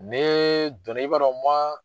Ne donna, i b'a dɔn